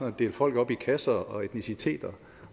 at dele folk op i kasser og etnicitet